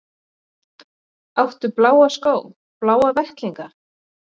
Áttu bláa skó, bláa vettlinga?